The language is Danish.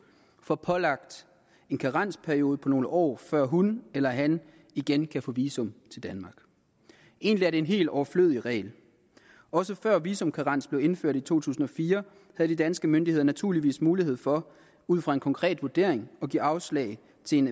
får pålagt en karensperiode på nogle år før hun eller han igen kan få visum til danmark egentlig er det en helt overflødig regel også før visumkarens blev indført i to tusind og fire havde de danske myndigheder naturligvis mulighed for ud fra en konkret vurdering at give afslag til en